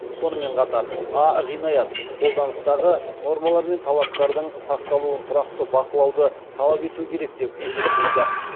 сонымен қатар а ғинаят қолданыстағы нормалар мен талаптардың сақталуын тұрақты бақылауды талап ету керек деп есептейді